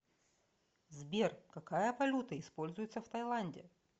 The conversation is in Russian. сбер какая валюта используется в таиланде